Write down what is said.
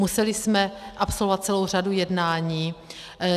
Museli jsme absolvovat celou řadu jednání.